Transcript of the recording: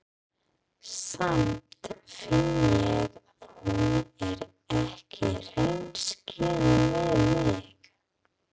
Samt finn ég að hún er ekki hreinskilin við mig.